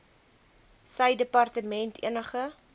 sy departement enige